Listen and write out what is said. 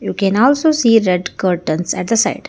we can also see red curtains at the side.